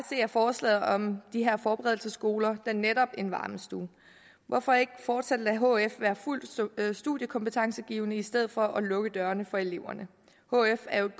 er forslaget om de her forberedelsesskoler da netop en varmestue hvorfor ikke fortsat lade hf være fuldt studiekompetencegivende i stedet for at lukke dørene for eleverne hf er jo et